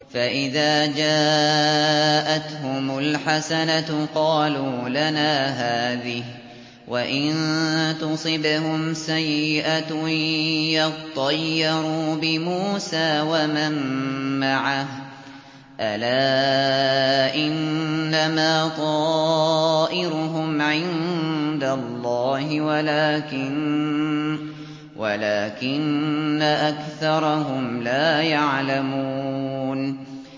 فَإِذَا جَاءَتْهُمُ الْحَسَنَةُ قَالُوا لَنَا هَٰذِهِ ۖ وَإِن تُصِبْهُمْ سَيِّئَةٌ يَطَّيَّرُوا بِمُوسَىٰ وَمَن مَّعَهُ ۗ أَلَا إِنَّمَا طَائِرُهُمْ عِندَ اللَّهِ وَلَٰكِنَّ أَكْثَرَهُمْ لَا يَعْلَمُونَ